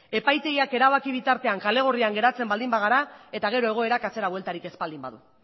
epaitegiak erabaki bitartean kale gorrian geratzen baldin bagara eta gero egoerak atzera bueltarik ez baldin badu